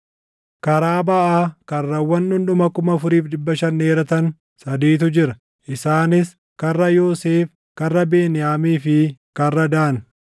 Karaa baʼaa karrawwan dhundhuma 4,500 dheeratan sadiitu jira; isaanis karra Yoosef, karra Beniyaamii fi karra Daan.